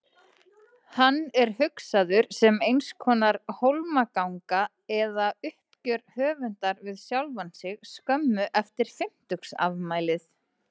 Hann er hugsaður sem einskonar hólmganga eða uppgjör höfundar við sjálfan sig skömmu eftir fimmtugsafmælið.